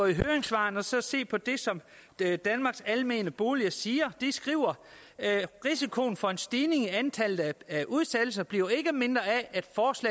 høringssvarene og så se på det som danmarks almene boliger siger de skriver risikoen for en stigning i antallet af udsættelser bliver ikke mindre af